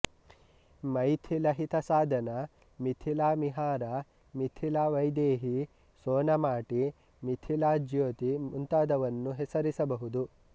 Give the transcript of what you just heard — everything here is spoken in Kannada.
ಮೈಥಿಲಹಿತಸಾಧನ ಮಿಥಿಲಾಮಿಹಿರ ಮಿಥಿಲಾ ವೈದೇಹಿ ಸೋನಾಮಾಟಿ ಮಿಥಿಲಾ ಜ್ಯೋತಿ ಮುಂತಾದವನ್ನು ಹೆಸರಿಸಬಹುದು